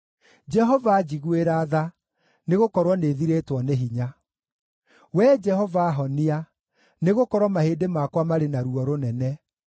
Jehova, njiguĩra tha, nĩgũkorwo nĩthirĩtwo nĩ hinya; Wee Jehova honia, nĩgũkorwo mahĩndĩ makwa marĩ na ruo rũnene.